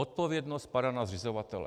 Odpovědnost padá na zřizovatele.